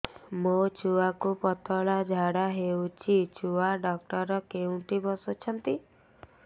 ମୋ ଛୁଆକୁ ପତଳା ଝାଡ଼ା ହେଉଛି ଛୁଆ ଡକ୍ଟର କେଉଁଠି ବସୁଛନ୍ତି